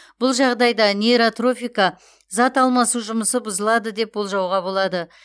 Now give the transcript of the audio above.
бұл жағдайда нейротрофика зат алмасу жұмысы бұзылады деп болжауға болады